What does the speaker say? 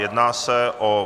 Jedná se o